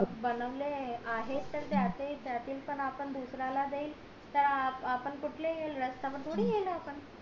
बनवले आहेत त्यातून पण आपण दुसऱ्याला ला देऊ तर आपण कुठले रस्त्यावर थोडी येणार